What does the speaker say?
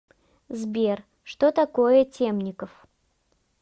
сбер что такое темников